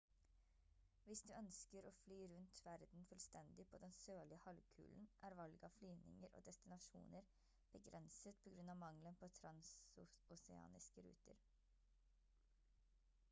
hvis du ønsker å fly rundt verden fullstendig på den sørlige halvkulen er valget av flyvninger og destinasjoner begrenset på grunn av mangelen på transoceaniske ruter